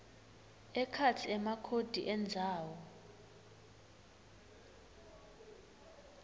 ekhatsi emakhodi endzawo